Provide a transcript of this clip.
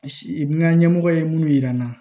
N ka ɲɛmɔgɔ ye minnu yira n na